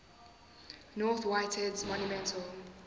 north whitehead's monumental